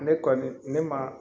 Ne kɔni ne ma